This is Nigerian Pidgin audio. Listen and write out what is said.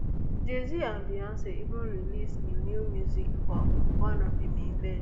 jayz and beyonc even release new new music for one of im events